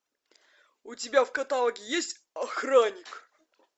у тебя в каталоге есть охранник